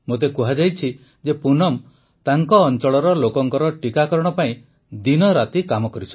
ମୋତେ କୁହାଯାଇଛି ଯେ ପୁନମ ତାଙ୍କ ଅଂଚଳର ଲୋକଙ୍କ ଟୀକାକରଣ ପାଇଁ ଦିନରାତି କାମ କରିଛନ୍ତି